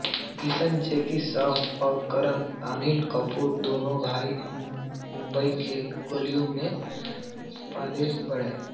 किशन जैकी श्रॉफ और करन अनिल कपूर दोनों भाई मुंबई के गलियों में पलेबढ़े हैं